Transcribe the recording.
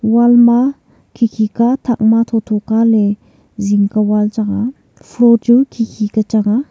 wall ma khikhi ka thak ma thotho ka le zing ka wall chang a floor chu khikhi ka chang a.